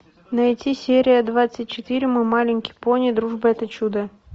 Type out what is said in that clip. найти серия двадцать четыре мой маленький пони дружба это чудо